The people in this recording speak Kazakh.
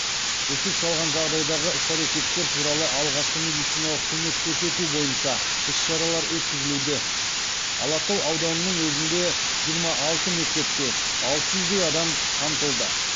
үсік шалған жағдайдағы іс әрекеттер туралы алғашқы медициналық көмек көрсету бойынша іс шаралар өткізілуде алатау ауданының өзінде жиырма алты мектепте алты жүздей адам қамтылды